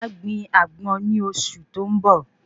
Màá gbin Àgbọn ní oṣù tó n bọ